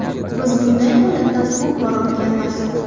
Biz bunday holatdan ko‘p bor o‘tganmiz.